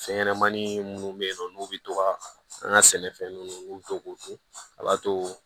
Fɛn ɲɛnɛmani munnu bɛ yen nɔ n'u bɛ to ka an ka sɛnɛfɛnnu u bɛ to k'u to a b'a to